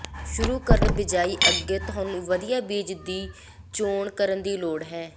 ਸ਼ੁਰੂ ਕਰਨ ਬਿਜਾਈ ਅੱਗੇ ਤੁਹਾਨੂੰ ਵਧੀਆ ਬੀਜ ਦੀ ਚੋਣ ਕਰਨ ਦੀ ਲੋੜ ਹੈ